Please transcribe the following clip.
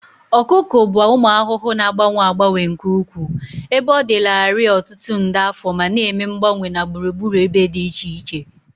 Ọkụkụ bụ ụmụ ahụhụ na-agbanwe agbanwe nke ukwuu, ebe ọ dịlarị ọtụtụ nde afọ ma na-eme mgbanwe na gburugburu ebe dị iche iche.